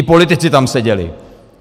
I politici tam seděli!